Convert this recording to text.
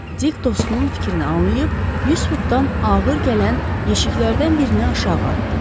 Dik dostunun fikrini anlayıb 100 futdan ağır gələn yeşiklərdən birini aşağı atdı.